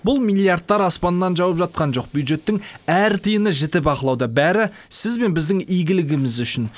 бұл миллиардтар аспаннан жауып жатқан жоқ бюджеттің әр тиыны жіті бақылауда бәрі сіз бен біздің игілігіміз үшін